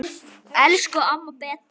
Elsku amma Beta.